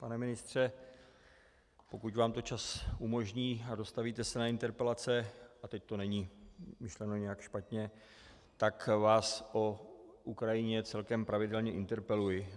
Pane ministře, pokud vám to čas umožní a dostavíte se na interpelace, a teď to není myšleno nějak špatně, tak vás o Ukrajině celkem pravidelně interpeluji.